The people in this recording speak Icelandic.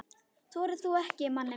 Þorir þú ekki, manni minn?